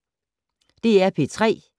DR P3